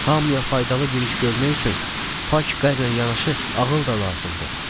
Hamıya faydalı bir iş görmək üçün pak qəlbinə yanaşı ağıl da lazımdır.